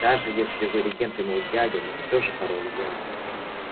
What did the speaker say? даже если вы регент и мой дядя но всё же король я